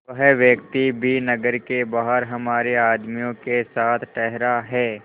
वह व्यक्ति भी नगर के बाहर हमारे आदमियों के साथ ठहरा है